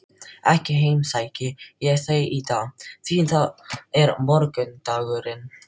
Ekki heimsæki ég þau í dag, því það er morgundagurinn.